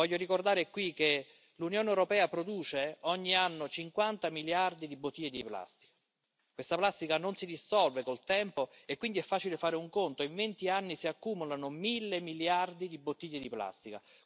Voglio ricordare qui che l'Unione europea produce ogni anno 50 miliardi di bottiglie di plastica e questa plastica non si dissolve col tempo e quindi è facile fare un conto in 20 anni si accumulano mille miliardi di bottiglie di plastica.